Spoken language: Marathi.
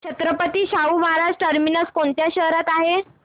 छत्रपती शाहू महाराज टर्मिनस कोणत्या शहरात आहे